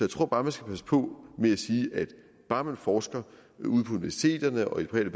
tror bare man skal passe på med at sige at bare man forsker ude på universiteterne og i